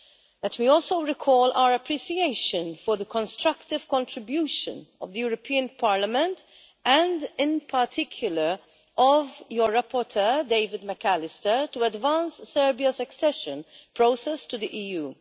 Let me also recall our appreciation for the constructive contribution of the European Parliament, and in particular of your rapporteur, David McAllister, to advance Serbia's accession process to the EU.